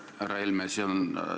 Härra Helme!